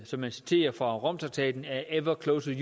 som man citerer fra romtraktaten ever closer